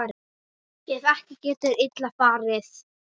Ef ekki getur illa farið.